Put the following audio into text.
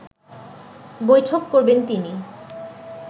বৈঠক করবেন তিনি